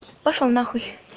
пошёл нахуй